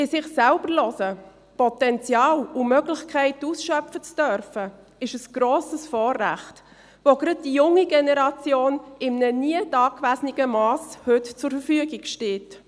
In sich selbst hineinhören, Potenziale und Möglichkeiten ausschöpfen zu dürfen, ist ein grosses Vorrecht, das gerade der jungen Generation in einem nie dagewesenen Mass zur Verfügung steht.